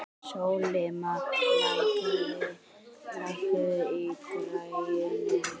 Sólimann, lækkaðu í græjunum.